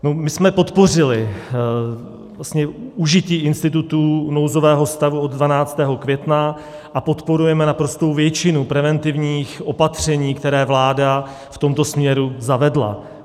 My jsme podpořili užití institutu nouzového stavu od 12. května a podporujeme naprostou většinu preventivních opatření, která vláda v tomto směru zavedla.